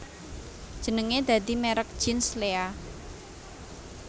Jenenge dadi merk jeans Lea